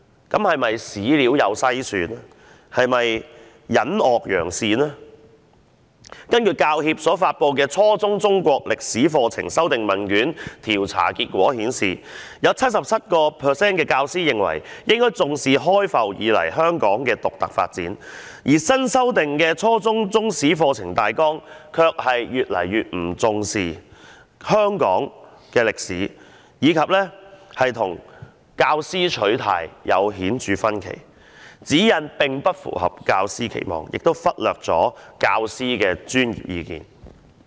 根據香港教育專業人員協會所發表有關初中中國歷史科課程修訂問卷調查結果顯示，有 77% 教師認為課程應以香港自開埠以來的獨特發展為重，但新修訂的初中中史課程大綱卻越來越不重視香港的歷史，並與教師的取態有着明顯分歧，課程指引既不符合教師期望，亦忽略了他們的專業意見。